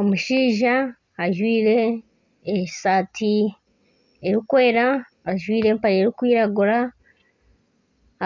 Omushaija ajwire esaati erikwera ajwire empare erikwiragura